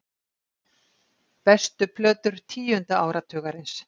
Bestu plötur tíunda áratugarins